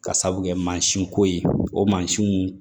Ka sabu kɛ mansin ko ye o mansinw